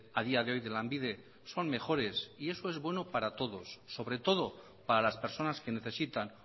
a día de hoy de lanbide son mejores y eso es bueno para todos sobre todo para las personas que necesitan